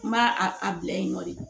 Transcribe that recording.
N b'a a bila yen nɔ de